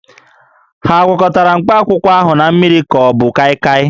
A gwakọtara mkpakwụkwọ ahụ na mmiri ka ọ bụ kaịkaị?